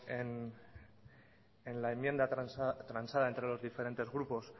en la enmienda transada entre los diferentes grupos